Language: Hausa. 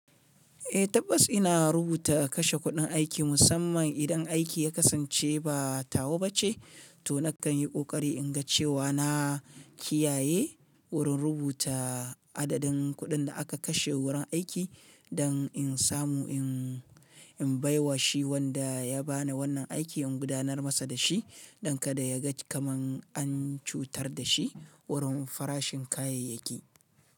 Eh tabbas ina rubuta kashe kuɗin aiki musamman idan aiki ya kasance ba tawa ba ce, to na kan yi ƙoƙari in ga cewa na kiyaye wurin rubuta adadin kuɗin da aka kashe wurin aiki dan in samu in baiwa shi wanda ya bani wannan aiki in gudanar masa da shi don kada ya ga kamar an cutar da shi wurin farashin kayayyaki.